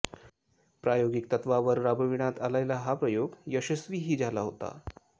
प्रायोगिक तत्त्वावर राबविण्यात आलेला हा प्रयोग यशस्वीही झाला होता